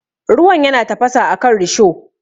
Ruwan yana tafasa akan risho.